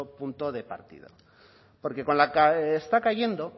punto de partida porque con la que está cayendo